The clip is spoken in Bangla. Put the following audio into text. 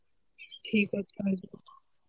ঠিক আছে